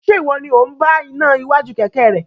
Ṣe iwọ ni o n bá iná iwájú kẹkẹ rẹ?